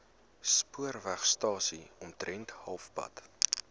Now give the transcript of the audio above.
spoorwegstasie omtrent halfpad